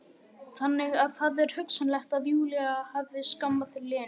Þannig að það er hugsanlegt að Júlía hafi skammað Lenu.